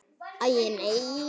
Æi, nei.